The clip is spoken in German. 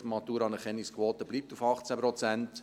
Die Maturaanerkennungsquote bleibt bei 18 Prozent.